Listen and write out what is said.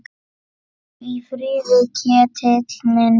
Hvíldu í friði, Ketill minn.